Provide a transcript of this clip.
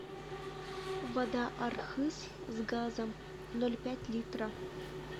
вода архыз с газом ноль пять литра